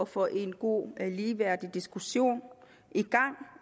få en god og ligeværdig diskussion i gang